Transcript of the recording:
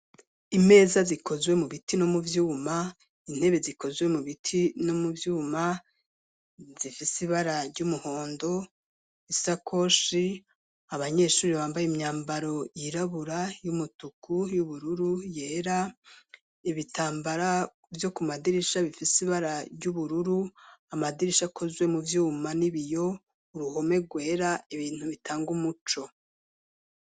Imeza zikozwe mu biti no mu vyuma, intebe zikozwe mu biti no mu vyuma zifise ibara ry'umuhondo, isakoshi, abanyeshuri bambaye imyambaro yirabura y'umutuku, y'ubururu, yera, ibitambara vyo ku madirisha bifise ibara ry'ubururu amadirisha akozwe mu vyuma n'ibiyo, uruhome rwera ibintu bitanga umuco.